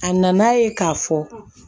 A nana ye k'a fɔ